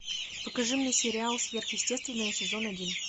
покажи мне сериал сверхъестественное сезон один